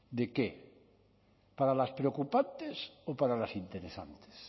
de qué para las preocupantes o para las interesantes